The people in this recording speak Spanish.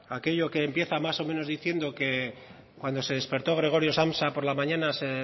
aquello que empieza más o menos diciendo que cuando se despertó gregorio samsa por la mañana se